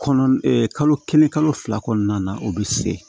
Kɔnɔ kalo kelen kalo fila kɔnɔna na o be se